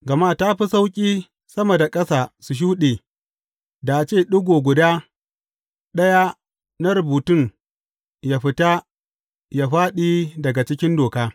Gama ta fi sauƙi sama da ƙasa su shuɗe, da a ce ɗigo guda ɗaya na rubutun, ya fita ya fāɗi daga cikin Doka.